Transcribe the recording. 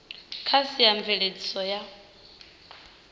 kha sia a mveledziso ya